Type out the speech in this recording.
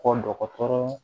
Ko dɔgɔtɔrɔ